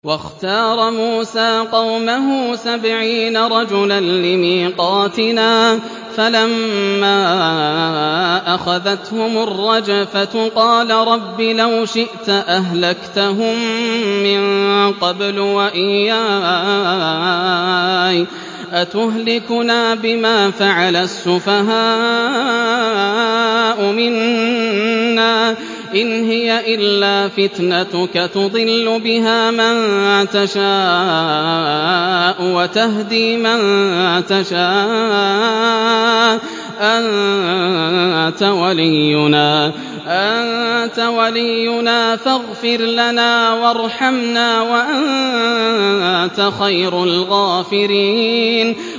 وَاخْتَارَ مُوسَىٰ قَوْمَهُ سَبْعِينَ رَجُلًا لِّمِيقَاتِنَا ۖ فَلَمَّا أَخَذَتْهُمُ الرَّجْفَةُ قَالَ رَبِّ لَوْ شِئْتَ أَهْلَكْتَهُم مِّن قَبْلُ وَإِيَّايَ ۖ أَتُهْلِكُنَا بِمَا فَعَلَ السُّفَهَاءُ مِنَّا ۖ إِنْ هِيَ إِلَّا فِتْنَتُكَ تُضِلُّ بِهَا مَن تَشَاءُ وَتَهْدِي مَن تَشَاءُ ۖ أَنتَ وَلِيُّنَا فَاغْفِرْ لَنَا وَارْحَمْنَا ۖ وَأَنتَ خَيْرُ الْغَافِرِينَ